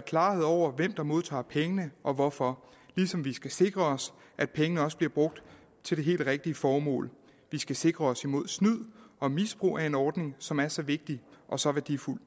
klarhed over hvem der modtager pengene og hvorfor ligesom vi skal sikre at pengene også bliver brugt til det helt rigtige formål vi skal sikre os mod snyd og misbrug af en ordning som er så vigtig og så værdifuld